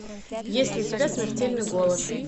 есть ли у тебя смертельный голод